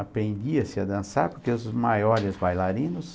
Aprendia-se a dançar, porque os maiores bailarinos